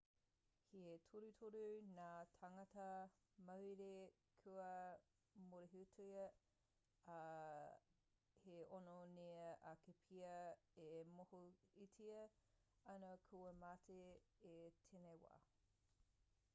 he torutoru ngā tāngata mauhere kua mōrehutia ā he ono nui ake pea e mōhiotia ana kua mate i tēnei wā